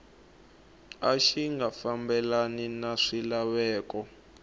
xi nga fambelani ni swilaveko